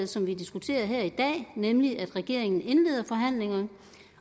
som vi diskuterer her i dag nemlig at regeringen indleder forhandlinger